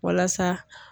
Walasa